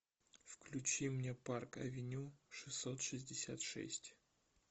включи мне парк авеню шестьсот шестьдесят шесть